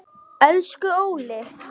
Elsku Óli.